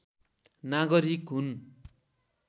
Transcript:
नागरीक हुन्